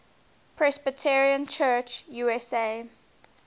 presbyterian church usa